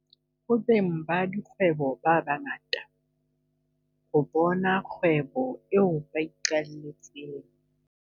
Ho beng ba dikgwebo ba ba ngata, ho bona kgwebo eo ba iqaletseng